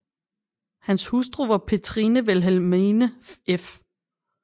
Hans hustru var Petrine Vilhelmine f